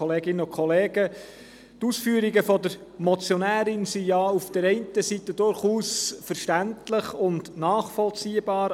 Die Ausführungen der Motionärin sind auf der einen Seite durchaus verständlich und nachvollziehbar.